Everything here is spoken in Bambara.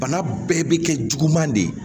Bana bɛɛ bɛ kɛ juguman de ye